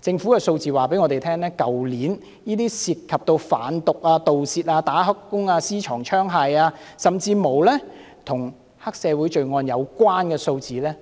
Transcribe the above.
政府的數字告訴我們，去年涉及犯毒、盜竊、"打黑工"、私藏槍械、甚至與黑社會罪案的有關數字